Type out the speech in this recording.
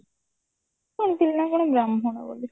ଶୁଣିଥିଲି ନା କଣ ବ୍ରାହ୍ମଣ ବୋଲି